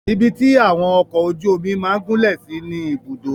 Ibi tí àwọn ọkọ ojú omi máà gúnlẹ̀ sí ni Ibùdó.